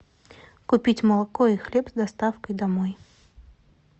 купить молоко и хлеб с доставкой домой